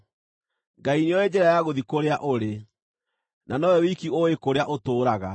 Ngai nĩooĩ njĩra ya gũthiĩ kũrĩa ũrĩ, na nowe wiki ũũĩ kũrĩa ũtũũraga,